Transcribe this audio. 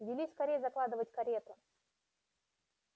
вели скорей закладывать карету